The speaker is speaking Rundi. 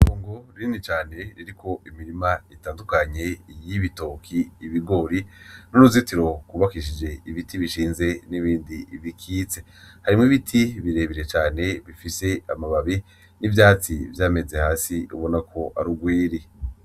Itongo rinini cane ririko imirima itandukanye y'ibitoki, ibigori n' uruzitiro gwubakishije ibiti bishinze n' ibindi bikitse, harimwo ibiti bire bire cane bifise amababi n' ivyatsi vyameze hasi ubona ko ari ugwiri.